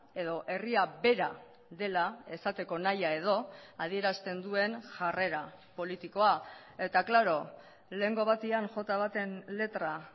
edo herria bera dela esateko nahia edo adierazten duen jarrera politikoa eta klaro lehengo batean jota baten letra